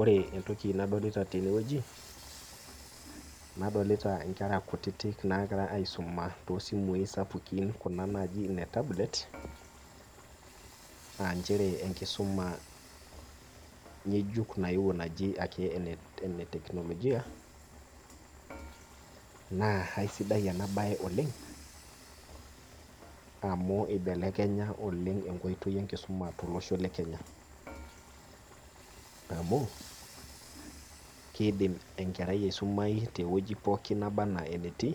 Ore entoki nadolita teneweji ,nadolita nkera naagira aisuma toosimui sapukin kuna naaji ine tablet aa nchere enkisuma ngejuk ake nayeuo naji eneteknolojia, naa isidan ena bae oleng amu eibelekenya nkoitoi enkisuma tolosho lekenya ,amu keidim enkerai aisumayu teweji pookin naba enaa enatii